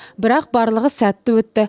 бірақ барлығы сәтті өтті